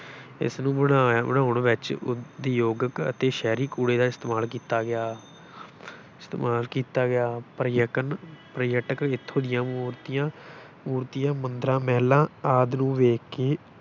ਇਸਨੂੰ ਬਣਾ ਬਣਾਉਨ ਵਿੱਚ ਉਦਯੋਗਕ ਅਤੇ ਸ਼ਹਿਰੀ ਕੂੜੇ ਦਾ ਇਸਤੇਮਾਲ ਕੀਤਾ ਗਿਆ ਇਸਤੇਮਾਲ ਕੀਤਾ ਗਿਆ, ਪ੍ਰਕਨ ਪਰਯਟਕ ਇੱਥੋਂ ਦੀਆਂ ਮੂਰਤੀਆਂ ਮੂਰਤੀਆਂ, ਮੰਦਰਾਂ, ਮਹਿਲਾਂ ਆਦਿ ਨੂੰ ਵੇਖਕੇ